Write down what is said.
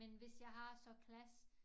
Men hvis jeg har så klasse